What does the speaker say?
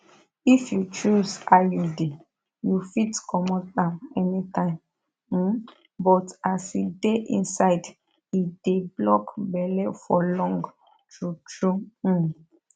if you choose iud you fit comot am anytime um but as e dey inside e dey block belle for long true true um